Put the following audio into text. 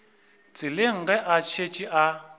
tseleng ge a šetše a